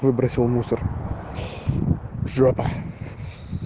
выбросил мусор ж